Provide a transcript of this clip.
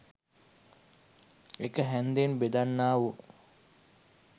එක හැන්දෙන් බෙදන්නා වූ